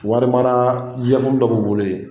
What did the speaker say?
Wari mara jɛkulu dɔ b'u bolo yen